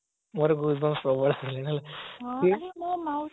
ମୋର gush booms ସବୁ ଆସିଗଲାଣି